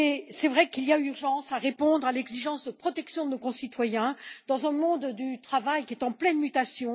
C'est vrai qu'il y a urgence à répondre à l'exigence de protection de nos concitoyens dans un monde du travail en pleine mutation.